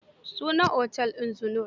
Sunan otel din Zinnur.